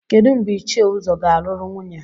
Kedu mgbe Ichie Uzo ga-alụrụ nwunye?